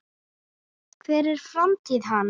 Hver er framtíð hans?